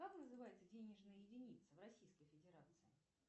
как называется денежная единица в российской федерации